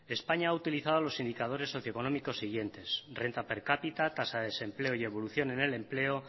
españa ha utilizado los indicadores socioeconómicos siguientes renta per cápita tasa de desempleo y evolución en el empleo